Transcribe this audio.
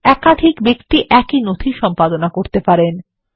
একাধিক ব্যক্তি একই নথি সম্পাদনা করতে পারেন